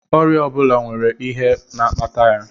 Ọrịa ọ bụla nwere ihe na-akpata ya